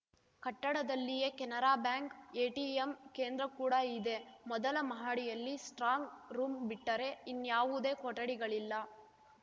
ಕಟ್ಟಡದಲ್ಲಿಯೇ Canara bank ATM ಕೇಂದ್ರ ಕೂಡ ಇದೆ ಮೊದಲ ಮಹಡಿಯಲ್ಲಿ ಸ್ಟ್ರಾಂಗ್‌ ರೂಮ್‌ ಬಿಟ್ಟರೆ ಇನ್ಯಾವುದೇ ಕೊಠಡಿಗಳಿಲ್ಲ